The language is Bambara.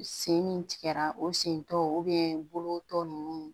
Sen min tigɛra o sen tɔ bolo tɔ nunnu